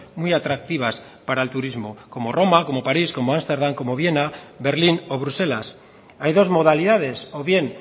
muy atractivas para el turismo como roma como parís como ámsterdam como viena berlín o bruselas hay dos modalidades o bien